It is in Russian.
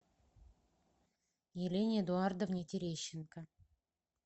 елене эдуардовне терещенко